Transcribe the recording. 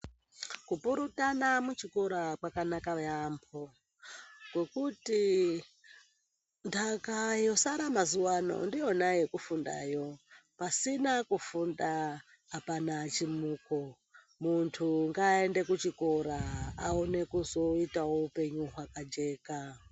Kupurutana muchikora kwakanaka yambo ngokuti ndaka yosara mazuwano ndiyona yekufundayo pasina kufunda apana chimuko muntu ngaaende kuchikora aone kuzoitawo hupenyu hwakajeka.